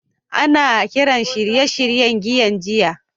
Ana kiran shirye-shiryen giyan giya